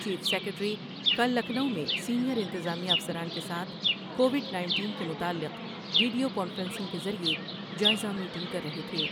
chief secretary کل لکھنو میں senior انتظامیہ افسران کے ساتھ کووڈ نینٹین کے متعلق ویڈیو کانفرنسنگ کے ذریعہ جائزہ میٹنگ کر رہے تھے